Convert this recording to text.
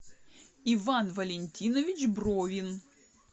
иван валентинович бровин